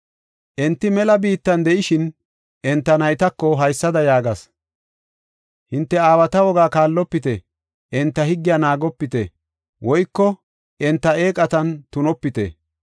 Enti mela biitta de7ishin, enta naytako haysada yaagas; “Hinte aawata wogaa kaallopite; enta higgiya naagopite; woyko enta eeqatan tunopite.